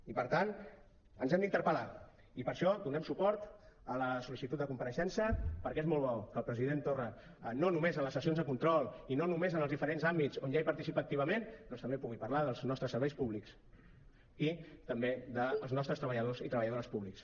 i per tant ens hem d’interpel·lar i per això donem suport a la sol·licitud de compareixença perquè és molt bo que el president torra no només en les sessions de control i no només en els diferents àmbits on ja participa activament doncs també pugui parlar dels nostres serveis públics i també dels nostres treballadors i treballadores públics